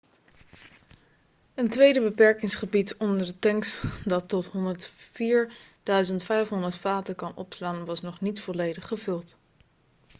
een tweede beperkingsgebied onder de tanks dat tot 104.500 vaten kan opslaan was nog niet volledig gevuld